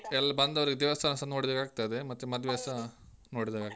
ಎಲ್ಲಾ ಬಂದವ್ರ್ಗೆಸ ದೇವಸ್ಥಾನ ಸ ನೋಡಿದ ಹಾಗಾಗ್ತದೆ. ಮತ್ತೆ ನೋಡಿದಾಗೆ ಆಗ್ತದೆ.